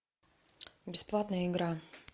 бесплатная игра